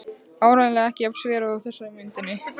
Áreiðanlega ekki jafn sver og þessi á myndinni.